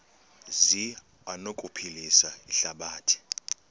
zi anokuphilisa ihlabathi